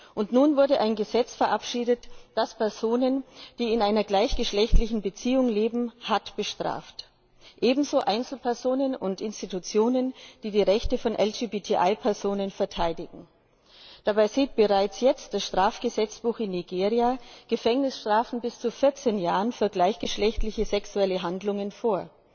Und nun wurde ein Gesetz verabschiedet, das Personen, die in einer gleichgeschlechtlichen Beziehung leben, hart bestraft, ebenso Einzelpersonen und Institutionen, die die Rechte von LGBTI Personen verteidigen. Dabei sieht bereits jetzt das Strafgesetzbuch in Nigeria Gefängnisstrafen bis zu 14 Jahren für gleichgeschlechtliche sexuelle Handlungen vor.